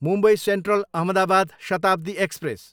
Mumbai central, Ahmedabad Shatabdi express